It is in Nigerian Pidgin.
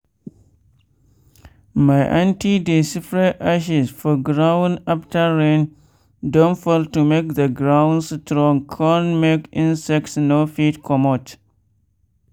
my anty dey spread ashes for ground after rain don fall to make the ground strong con make insects no fit comot.